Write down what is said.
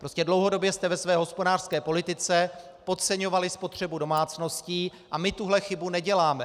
Prostě dlouhodobě jste ve své hospodářské politice podceňovali spotřebu domácností a my tuhle chybu neděláme.